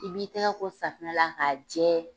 K'i b'i tɛgɛ ko safinɛ la, a jɛ